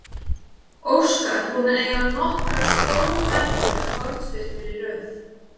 Óskar búinn að eiga nokkrar stórhættulegar hornspyrnur í röð.